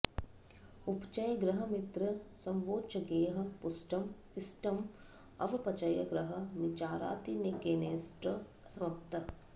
उपचय गृह मित्र स्वोच्चगैः पुष्टम् इष्टं अवपचय गृह नीचारातिगैर्नेष्ट सम्पत्